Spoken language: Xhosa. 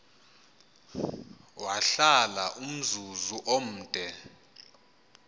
wahlala umzuzu omde